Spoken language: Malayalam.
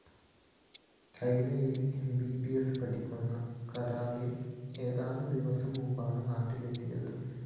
ചൈനയില്‍ എംബിബിഎസിന് പഠിക്കുന്ന കാരളിന്‍ ഏതാനും ദിവസം മുമ്പാണ് നാട്ടിലെത്തിയത്